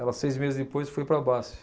Ela, seis meses depois, foi para a Basfe.